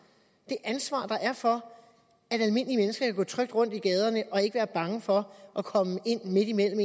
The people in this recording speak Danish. det ansvar der er for at gå trygt rundt i gaderne og ikke være bange for at komme ind midt imellem